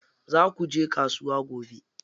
Za kuje kasuwa gobe?